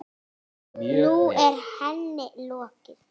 Nú er henni lokið.